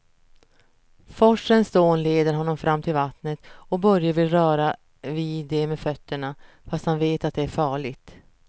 Forsens dån leder honom fram till vattnet och Börje vill röra vid det med fötterna, fast han vet att det är farligt.